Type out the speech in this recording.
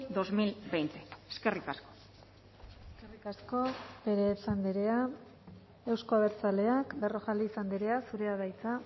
dos mil veinte eskerrik asko eskerrik asko perez andrea euzko abertzaleak berrojalbiz andrea zurea da hitza